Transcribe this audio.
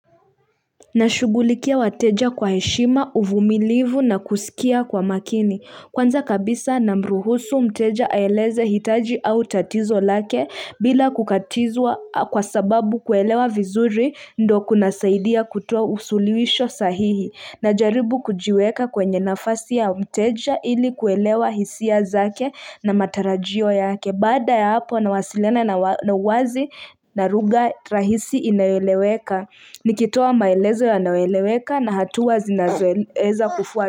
Na shughulikia wateja kwa heshima, uvumilivu na kusikia kwa makini. Kwanza kabisa namruhusu mteja aeleze hitaji au tatizo lake bila kukatizwa kwa sababu kuelewa vizuri ndo kunasaidia kutoa usuluhisho sahihi. Najaribu kujiweka kwenye nafasi ya mteja ili kuelewa hisia zake na matarajio yake. Baada ya hapo na wasiliana na uwazi na lugha rahisi inayoeleweka. Nikitoa maelezo yanayoeleweka na hatua zinaweza kufuatwa.